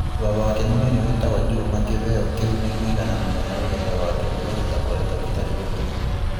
Vava wake munini witagwo Juma kĩveo kĩu nĩ mũigana mũnene rũgendo rwake rũrĩa rũtakoretwo rrutarĩ rũhũthũ.